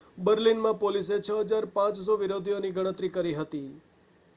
બર્લિનમાં પોલીસે 6,500 વિરોધીઓની ગણતરી કરી હતી